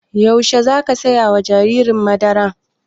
Yaushe za ka saya ma jariri madara?